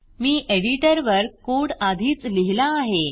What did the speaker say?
मी एडिटरवर कोड आधीच लिहिला आहे